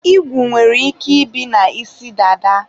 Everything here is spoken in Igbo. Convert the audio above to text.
igwu nwere ike ibi na isi dada